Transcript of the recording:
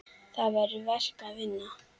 Það er verk að vinna.